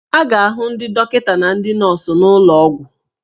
A ga-ahụ ndị dọkịta na ndị nọọsụ n'ụlọ ọgwụ